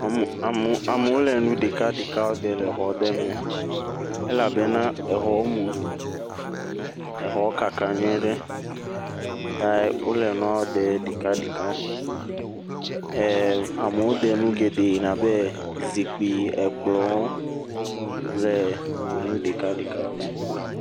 Amewo le ɖeka ɖeka ɖem le exɔ aɖe me, elabena exɔ mu, exɔ kaka nyuie ɖe ta wole nua ɖem ɖeka ɖeka, amewo ɖe nu geɖe abe zikpui, ekplɔ kple nu ɖeka ɖeka…